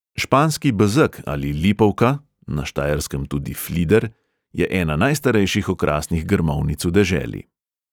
Španski bezeg ali lipovka (na štajerskem tudi "flider") je ena najstarejših okrasnih grmovnic v deželi.